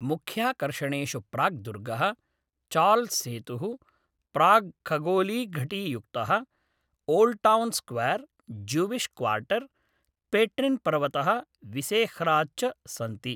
मुख्याकर्षणेषु प्राग्दुर्गः, चार्ल्स्सेतुः, प्राग्खगोलीयघटीयुक्तः ओल्ड्टौन् स्क्वेर्, ज्यूविश् क्वार्टर्, पेट्रिन्पर्वतः, विसेह्राद् च सन्ति।